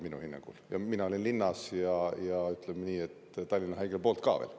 Mina olin linna ja ütleme nii, et Tallinna Haigla poolt ka veel.